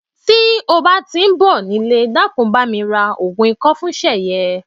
Ti o ba ti n bo nile, dakun, bami ra ogun iko fun Seye.